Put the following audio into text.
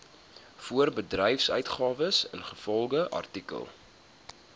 voorbedryfsuitgawes ingevolge artikel